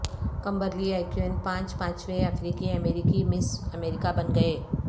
Kimberly اکیون پانچ پانچویں افریقی امریکی مس امریکہ بن گئے